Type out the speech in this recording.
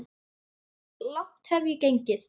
Langt hef ég gengið.